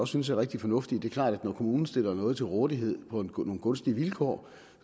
synes er rigtig fornuftige det er klart at når kommunen stiller noget til rådighed på nogle gunstige vilkår